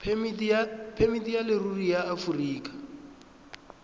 phemiti ya leruri ya aforika